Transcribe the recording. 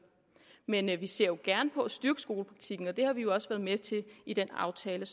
men vi ser gerne på at styrke skolepraktikken og det har vi jo også været med til i den aftale